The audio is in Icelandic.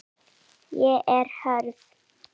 Ég er hörð.